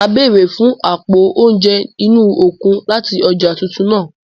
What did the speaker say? Màá béèrè fún àpo oúnjẹ inú okun láti ọjà titun náà.